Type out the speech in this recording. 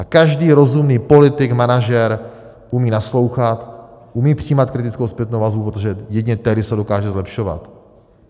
A každý rozumný politik, manažer umí naslouchat, umí přijímat kritickou zpětnou vazbu, protože jedině tehdy se dokáže zlepšovat.